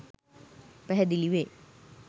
පැහැදිලි වේ.